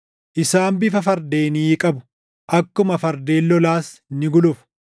Isaan bifa fardeenii qabu; akkuma fardeen lolaas ni gulufu.